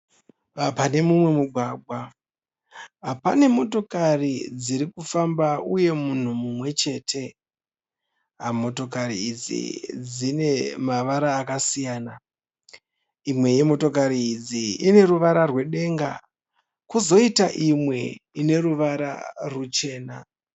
Panemumwe mugwagwa, pane motokari dzirikufamba uye munhu mumwechete. Motokari idzi dzinemavara yakasiyana. Imwe yemotokari idzi ineruvara rwedenga kozoita imwe ineruvara rwuchena.